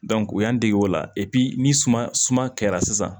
u y'an dege o la ni suma suma kɛra sisan